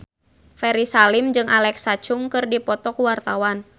Ferry Salim jeung Alexa Chung keur dipoto ku wartawan